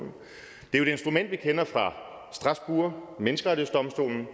et instrument vi kender fra strasbourg menneskerettighedsdomstolen